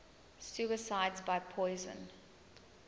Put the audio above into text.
suicides by poison